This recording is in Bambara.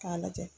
K'a lajɛ